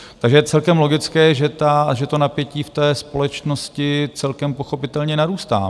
Takže je celkem logické, že to napětí v té společnosti celkem pochopitelně narůstá.